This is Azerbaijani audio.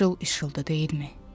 İşıl-ışıldı, deyilmi?